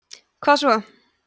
hvað svo